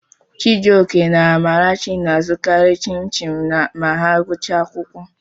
Chijioke na Amarachi na-azụkarị Chin-chim ma ha gụchaa akwụkwọ.